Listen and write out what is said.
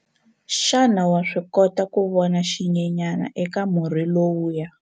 Xana wa swi kota ku vona xinyenyana eka murhi lowuya?